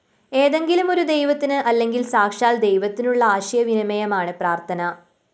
ഏതെങ്കിലുമൊരു ദൈവത്തിന് അല്ലെങ്കില്‍ സാക്ഷാല്‍ ദൈവത്തിനുള്ള ആശയവിനിമയമാണ് പ്രാര്‍ത്ഥന